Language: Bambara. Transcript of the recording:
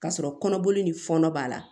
K'a sɔrɔ kɔnɔboli ni fɔnɔ b'a la